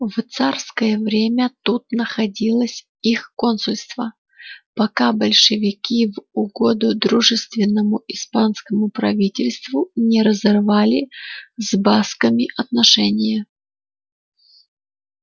в царское время тут находилось их консульство пока большевики в угоду дружественному испанскому правительству не разорвали с басками отношения